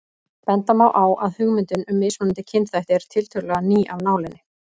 Benda má á að hugmyndin um mismunandi kynþætti er tiltölulega ný af nálinni.